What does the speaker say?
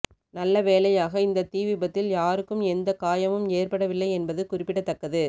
நல்ல வேலையாக இந்த தீ விபத்தில் யாருக்கும் எந்த காயமும் ஏற்படவில்லை என்பது குறிப்பிடத்தக்கது